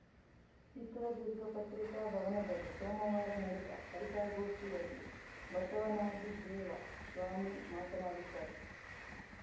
ಚಿತ್ರದುರ್ಗ ಪತ್ರಿಕಾಭವನದಲ್ಲಿ ಸೋಮವಾರ ನಡೆದ ಪತ್ರಿಕಾಗೋಷ್ಠಿಯಲ್ಲಿ ಬಸವನಾಗಿದೇವ ಸ್ವಾಮೀ ಮಾತನಾಡಿದ್ದರು